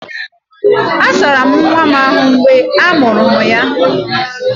A asara'm nwa m ahu mgbe a mụrụ ya